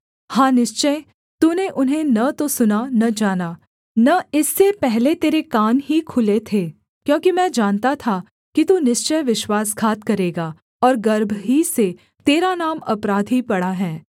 हाँ निश्चय तूने उन्हें न तो सुना न जाना न इससे पहले तेरे कान ही खुले थे क्योंकि मैं जानता था कि तू निश्चय विश्वासघात करेगा और गर्भ ही से तेरा नाम अपराधी पड़ा है